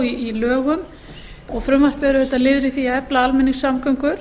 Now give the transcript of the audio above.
í lögum og frumvarpið er liður í því að efla almenningssamgöngur